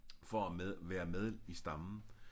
For at med være med i stammen